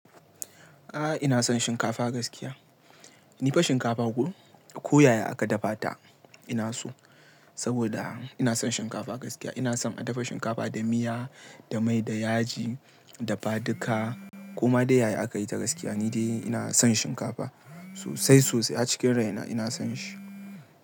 Ah, ina son shinkafa gaskiya. Ni fa shinkafa ko, ko yaya aka dafa ta ina so. Saboda ina son shinkafa gaskiya. Ina son a dafa shinkafa da miya, da mai, da yaji, da badika ko ma dai yaya aka yi ta gaskiya ni dai ina son shinkafa sosai sosai har cikin rai na ina son shi.